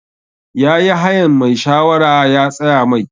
Ya yi hayan mai shawara ya tsaya Mai.